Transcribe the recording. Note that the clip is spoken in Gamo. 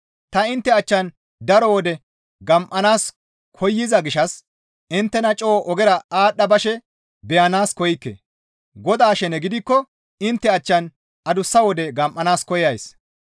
Ta intte achchan daro wode gam7anaas koyza gishshas inttena coo ogera aadhdha bashe beyanaas koykke; Godaa shene gidikko intte achchan adussa wode gam7anaas koyays.